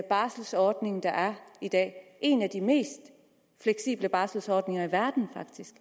barselordning der er i dag en af de mest fleksible barselordninger i verden